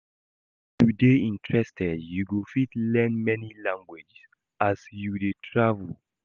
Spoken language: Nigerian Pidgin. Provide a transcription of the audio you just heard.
If you dey interested you go fit learn many language as you dey travel